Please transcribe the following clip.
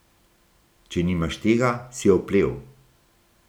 Če nimaš tega, si oplel.